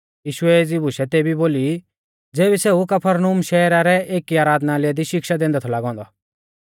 यीशुऐ एज़ी बुशै तेबी बोली ज़ेबी सेऊ कफरनहूम शहरा रै एकी आराधनालय दी शिक्षा दैंदै थौ लागौ औन्दौ